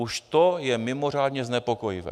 Už to je mimořádně znepokojivé.